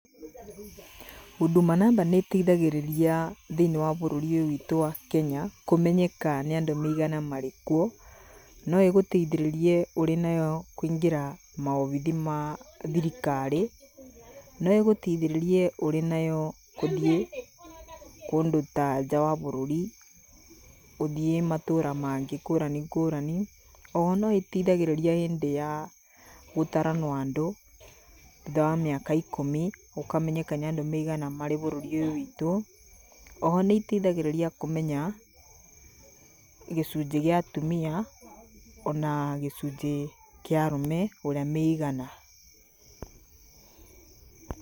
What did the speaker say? Huduma number nĩĩteithagĩrĩria thĩiniĩ wabũrũri ũyũ witũ wa Kenya, Kũmenyeka nĩandũ aigana marĩkuo. Noĩgũteithĩrĩrie ũrĩ nayo kũingĩra mawobici ma thirikari. Noĩgũteithĩrĩrie ũrĩ nayo ũthiĩ kũndũ ta nja wa bũrũri. ũthiĩ matũũra mangĩ ngũrani ngũrani. Oho noĩteithagĩrĩria hĩndĩ ya gũtaranwo andũ, thutha wa mĩaka ikũmi gũkamenyeka nĩandũ aigana marĩ bũrũri ũyũ witũ. Oho nĩiteithagĩrĩria kũmenya gĩcunjĩ gĩa atumia ona gĩcunjĩ kĩa arume, ũrĩa meigana.